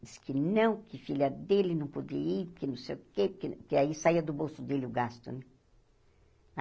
Diz que não, que filha dele não podia ir, que não sei o quê, porque aí saía do bolso dele o gasto, né?